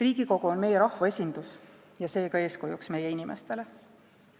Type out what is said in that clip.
Riigikogu on meie rahva esindus ja seega eeskujuks meie inimestele.